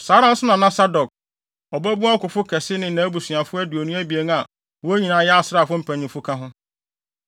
Saa ara nso na na Sadok, ɔbabun ɔkofo kɛse ne nʼabusuafo aduonu abien a wɔn nyinaa yɛ asraafo mpanyimfo ka ho.